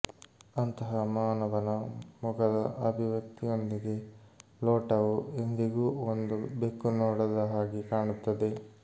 ಅಂತಹ ಮಾನವನ ಮುಖದ ಅಭಿವ್ಯಕ್ತಿಯೊಂದಿಗೆ ಲೋಟವು ಎಂದಿಗೂ ಒಂದು ಬೆಕ್ಕು ನೋಡದ ಹಾಗೆ ಕಾಣುತ್ತದೆ